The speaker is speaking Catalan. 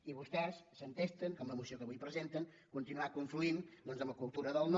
i vostès s’entesten amb la moció que avui presenten a continuar confluint amb la cultura del no